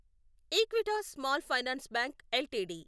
Equitas Small Finance Bank LTD